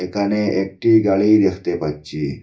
একানে একটি গাড়ি দেখতে পাচ্চি।